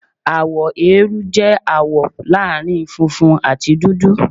Àwọ eérú jẹ́ àwọ̀ láàrin funfun àti dúdú.